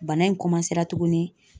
Bana in tuguni